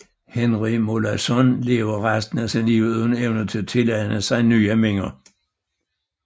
Henry Molaison levede resten af sit liv uden evne til at tilegne sig nye minder